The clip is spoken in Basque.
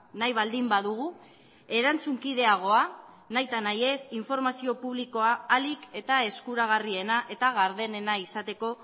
nahi baldin badugu erantzunkideagoa nahita nahi ez informazio publikoa ahalik eta eskuragarriena eta gardenena izateko